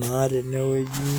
naa tenewueji.